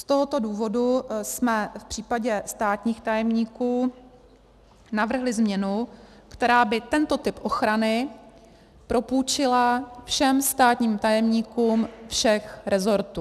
Z tohoto důvodu jsme v případě státních tajemníků navrhli změnu, která by tento typ ochrany propůjčila všem státním tajemníkům všech resortů.